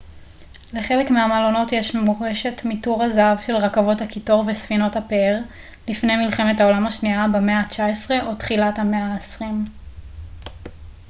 לחלק מהמלונות יש מורשת מתור הזהב של רכבות הקיטור וספינות הפאר לפני מלחמת העולם השנייה במאה ה-19 או תחילת המאה ה-20